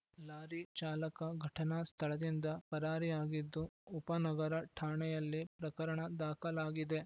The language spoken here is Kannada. ಲಾರಿ ಚಾಲಕ ಘಟನಾ ಸ್ಥಳದಿಂದ ಪರಾರಿಯಾಗಿದ್ದು ಉಪ ನಗರ ಠಾಣೆಯಲ್ಲಿ ಪ್ರಕರಣ ದಾಖಲಾಗಿದೆ